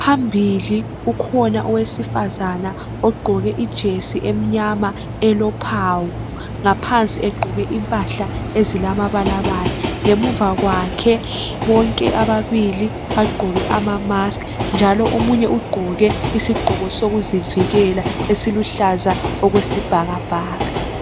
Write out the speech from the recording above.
phambili ukhona owesifazana ogqoke ijesi emnyama elophawu ngaphansi egqoke impahla ezilama balabala ngemuva kwakhe bonke ababili bagqoke ama mask njalo omunye ugqoke isigqoko sokuzivikela esiluhlaza okwesibhakabhaka